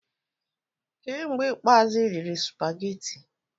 Kee mgbe ikpeazụ ị rịrị supageti?